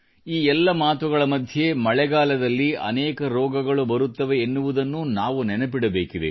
ಈ ಎಲ್ಲ ಮಾತುಗಳ ಮಧ್ಯೆ ಮಳೆಗಾಲದಲ್ಲಿ ಅನೇಕ ರೋಗಗಳು ಬರುತ್ತವೆ ಎನ್ನುವುದನ್ನೂ ನಾವು ನೆನಪಿಡಬೇಕಿದೆ